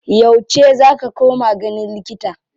Yauce za ka koma ganin likita?